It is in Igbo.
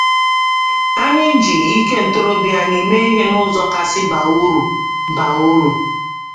Anyị ji ike ntorobịa anyị mee ihe n’ụzọ kasị baa uru. baa uru.